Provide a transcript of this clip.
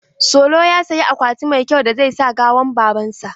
Solo ya siyi akwati mai kyau da zai sa gawan baban sa.